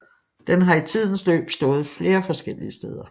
Den har i tidens løb stået flere forskellige steder